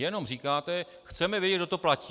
Jenom říkáte: Chceme vědět, kdo to platí.